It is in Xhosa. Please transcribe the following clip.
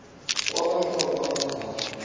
kwaba hlobo abadala